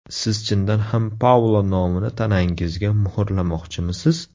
Siz chindan ham Paulo nomini tanangizga muhrlamoqchimisiz?